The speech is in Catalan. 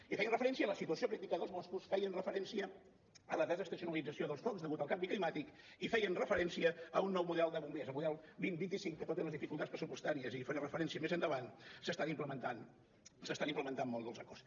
i feien referència a la situació crítica dels boscos feien referència a la desestacionalització dels focs degut al canvi climàtic i feien referència a un nou model de bombers el model dos mil vint cinc que tot i les dificultats pressupostàries i hi faré referència més endavant se n’estan implementant molts dels acords